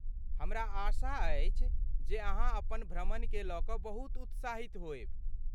हमरा आशा अछि जे अहाँ अपन भ्रमणकेँ लऽ कऽ बहुत उत्साहित होयब।